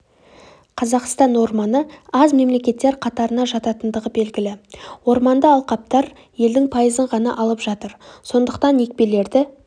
қазақстан орманы аз мемлекеттер қатарына жататындығы белгілі орманды алқаптар елдің пайызын ғана алып жатыр сондықтан екпелерді